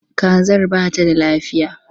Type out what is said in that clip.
Kazar ba ta da lafiya.